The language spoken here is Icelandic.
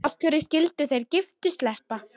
Af hverju skyldu þeir giftu sleppa?